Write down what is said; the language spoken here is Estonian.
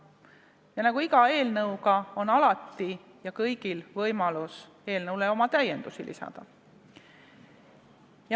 Ja nagu iga eelnõu puhul, on siingi kõigil võimalus eelnõule täiendusi lisada.